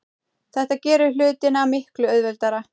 Þetta gerir hlutina miklu auðveldari.